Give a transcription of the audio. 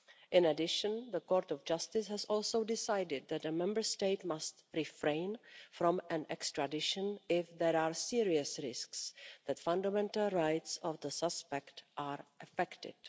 In addition, the Court of Justice has also decided that a Member State must refrain from an extradition if there are serious risks that fundamental rights of the suspect are affected.